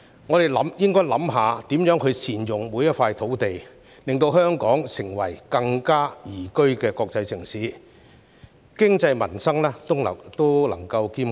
我們應該思考如何善用每幅土地，令香港成為更宜居的國際城市，經濟民生皆能兼顧。